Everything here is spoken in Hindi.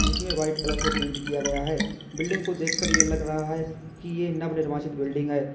इसमें वाइट कलर से पेंट किया गया है बिल्डिंग को देखकर यह लग रहा है कि यह नवनिर्वाचित बिल्डिंग है।